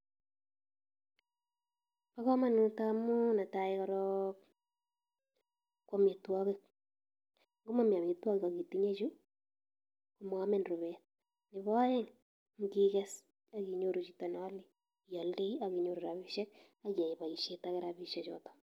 Bo kamanut amu netai korok ko amitwogik. Ngomami amitwogik ak itinye chu moamin rubet. Nebo aeng, ngiges akinyoru chito neale, ialdei ak inyoru rabisiek akiyai boisiet age rabisiek chotok.